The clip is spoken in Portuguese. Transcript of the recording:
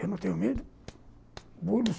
Eu não tenho medo.